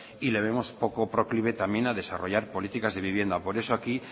y le vemos poco proclive también a desarrollar políticas de vivienda por eso aquí